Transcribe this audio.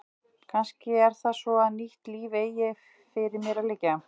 Kannski er það svo að nýtt líf eigi fyrir mér að liggja.